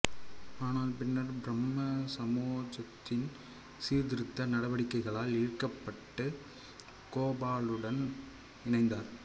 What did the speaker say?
ஆனால் பின்னர் பிரம்ம சமாஜத்தின் சீர்திருத்த நடவடிக்கைகளால் ஈர்க்கப்பட்டு கோபாலனுடன் இணைந்தார்